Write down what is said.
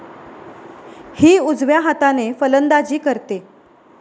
हि उजव्या हाताने फलंदाजी करते.